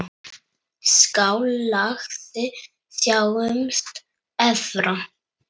Skál, lagsi, sjáumst efra.